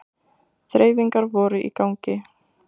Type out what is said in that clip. Þreifingar voru í gangi